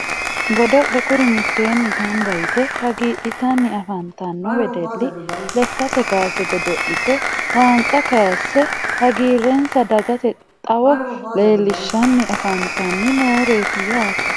Godo'le kuri mitteenni gamba yite hagiidhitanni afantanno wedelli lekkate kaase godo'lite waanca kayisse hagiirrensa dagate xawo leellishshanni afantanni nooreeti yaate